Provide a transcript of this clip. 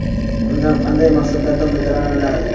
Undan qanday maqsadlarda foydalaniladi?.